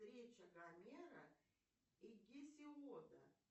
речи гомера и гесиода